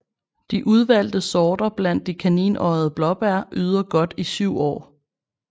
De udvalgte sorter blandt de kaninøjede blåbær yder godt i syv år